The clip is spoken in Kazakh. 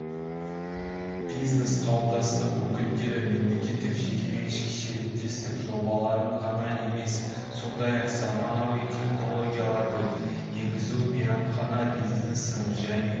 бизнес қауымдастықтың өкілдері мемлекеттік-жекеменшік серіктестік жобаларын ғана емес сондай-ақ заманауи технологияларды енгізу мейрамхана бизнесін және